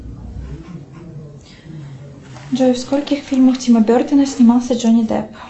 джой в скольких фильмах тима бертона снимался джонни депп